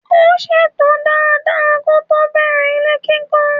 Ó ṣètò dada kótó bẹ̀rẹ̀ ilé kíkọ́.